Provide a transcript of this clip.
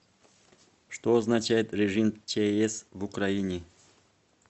что означает режим чс в украине